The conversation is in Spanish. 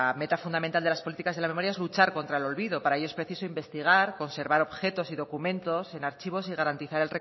meta fundamental de las políticas de la memoria es luchar contra el olvido para ello es preciso investigar conservar objetos y documentos en archivos y garantizar